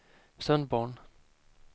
Sundborn